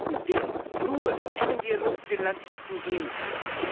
wir werden ihn nur im engen Dialog mit den Landwirten gehen können.